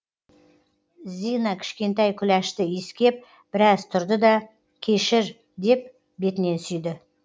зина кішкентай күләшті иіскеп біраз тұрды да кешір деп бетінен сүйді